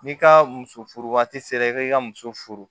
N'i ka muso furu waati sera i ka i ka muso furu